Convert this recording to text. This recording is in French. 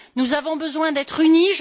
Nous avons besoin d'être unis.